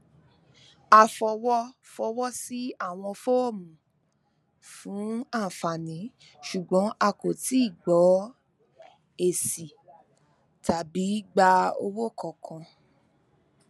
a fọwọ fọwọ sí awọn fọọmù fún àǹfààní ṣùgbọn a kò tíì gbọ esi tàbí gba owó kankan